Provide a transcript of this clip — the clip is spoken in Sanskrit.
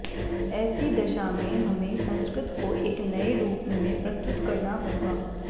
ऐसी दशा में हमें संस्कृत को एक नये रूप में प्रस्तुत करना होगा